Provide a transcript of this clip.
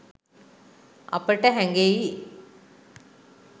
අපට හැඟෙයි